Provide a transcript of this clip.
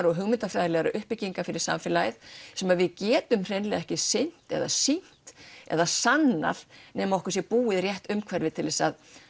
og hugmyndafræðilegar uppbyggingar fyrir samfélagið sem við getum hreinlega ekki sýnt eða sýnt eða sannað nema okkur sé búið rétt umhverfi til þess